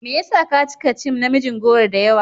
Me yasa kaci ka cin namijin goro da yawa?